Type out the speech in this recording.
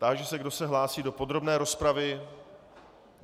Táži se, kdo se hlásí do podrobné rozpravy.